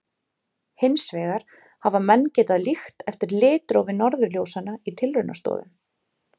Hins vegar hafa menn getað líkt eftir litrófi norðurljósanna í tilraunastofum.